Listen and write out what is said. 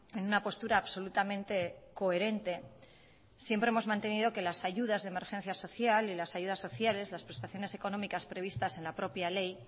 en una postura absolutamente coherente siempre hemos mantenido que las ayudas de emergencia social y las ayudas sociales las prestaciones económicas previstas en la propia ley